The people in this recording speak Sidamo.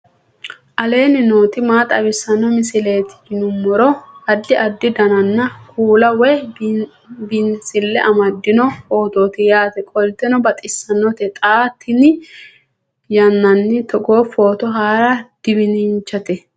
aleenni nooti maa xawisanno misileeti yinummoro addi addi dananna kuula woy biinsille amaddino footooti yaate qoltenno baxissannote xa tenne yannanni togoo footo haara danvchate